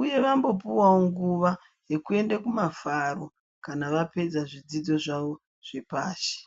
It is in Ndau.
uye vambopuwavo nguva yekuende kumafaro, kana vapedza zvidzidzo zvavo zvepashi.